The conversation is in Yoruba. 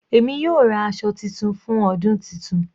Èmi yóò ra aṣọ titun fún ọdún titun.